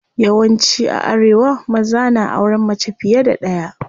Yawan ci a arewa maza na auren mace fiye da ɗaya.